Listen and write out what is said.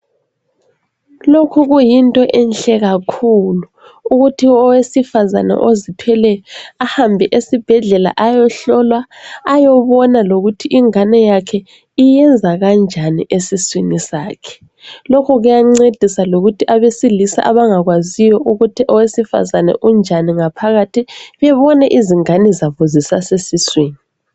Lokhu kuyinto enhle kakhulu, ukuthi owesifazana ezithweleyo ahambe esibhedlela ayehlolwa aye bona loukuthi ingane iyenza kanjani esiswini sakhe. Lokhu kuyancedisa lokuthi abesilisa abangakwayo ukuthi owesifazane umi njani ngaphakathi bebone izingane zabo zisasesiswini .